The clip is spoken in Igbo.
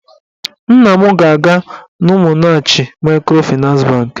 Nna m ga-aga n'Umunnachi maịkrofịnans bankị